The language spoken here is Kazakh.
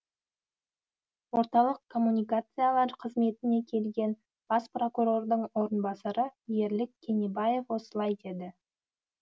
орталық коммуникациялар қызметіне келген бас прокурордың орынбасары ерлік кенебаев осылай деді